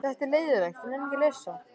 Lydia, lækkaðu í græjunum.